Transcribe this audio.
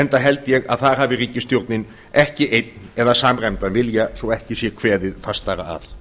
enda held ég að þar hafi ríkisstjórnin ekki einn eða samræmdan vilja svo ekki sé kveðið fastara að